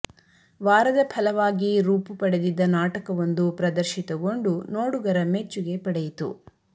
ವಾರದ ಫಲವಾಗಿ ರೂಪು ಪಡೆದಿದ್ದ ನಾಟಕವೊಂದು ಪ್ರದರ್ಶಿತಗೊಂಡು ನೋಡುಗರ ಮೆಚ್ಚುಗೆ ಪಡೆಯಿತು